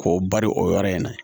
K'o bari o yɔrɔ in na